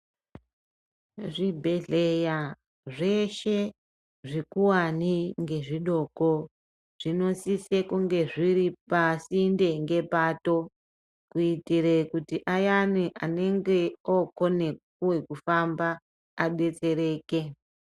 Zvibhedhleya zveshe, zvikuwane ngezvidoko, zvinosise kunge zviri pasinde ngepato, kuyitire kuti ayani anenge okoniwa kufamba adetsereke.